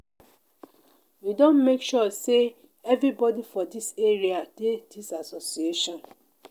we don make sure sey everybodi for dis area dey dis association.